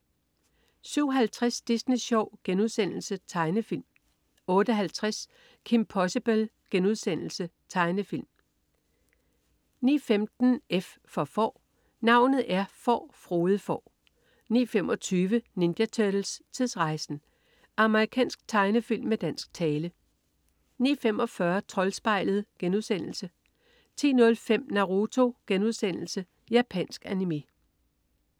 07.50 Disney Sjov.* Tegnefilm 08.50 Kim Possible.* Tegnefilm 09.15 F for Får. Navnet er Får, Frode Får 09.25 Ninja Turtles: Tidsrejsen! Amerikansk tegnefilm med dansk tale 09.45 Troldspejlet* 10.05 Naruto.* Japansk animé